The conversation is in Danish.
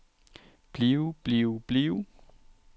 blive blive blive